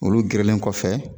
Olu gerelen kɔfɛ